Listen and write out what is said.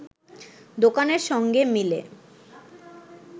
দোকানের সঙ্গে মিলে